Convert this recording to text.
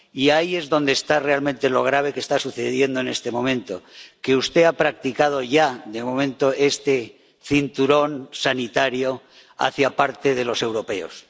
Y ahí es donde está lo realmente grave que está sucediendo en este momento que usted ha practicado ya, de momento, este cinturón sanitario hacia parte de los europeos.